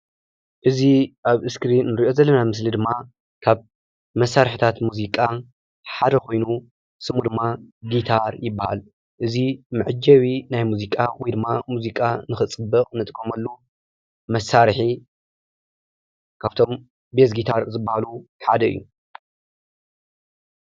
እዚ ኣብ እስክሪን ንርኦ ዘለና ምስሊ ድማ ካብ መሳርሒታት ሙዚቓ ሓደ ኮይኑ ስሙ ድማ ጊታር ይባሃል። እዚ መዐጀቢ ናይ ሙዚቃ ወይ ድማ ሙዚቓ ንኸፅብቅ ንጥቀመሉ መሳሪሒ ካብቶም ቤዝ ጊታር ዝባሃሉ ሓደ እዩ።